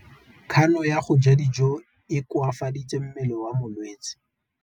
Kganô ya go ja dijo e koafaditse mmele wa molwetse.